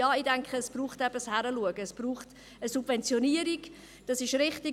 Ja, ich denke, es braucht ein Hinschauen, und es braucht eine Subventionierung, das ist richtig.